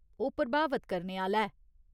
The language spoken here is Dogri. ओह् प्रभावत करने आह्‌ला ऐ।